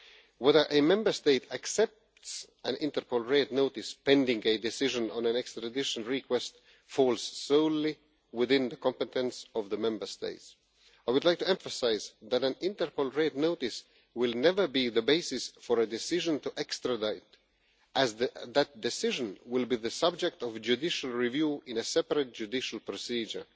Whether a Member State accepts an Interpol Red Notice, pending a decision on an extradition request, falls solely within the competence of the Member State. I would like to emphasise that an Interpol Red Notice will never be the basis for a decision to extradite, as that decision will be the subject of judicial review in a separate judicial procedure.